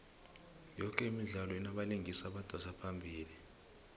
yoke imidlalo inabalingisi abadosa phambili